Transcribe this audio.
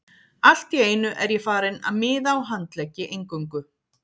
Allt í einu er ég farinn að miða á handleggi eingöngu.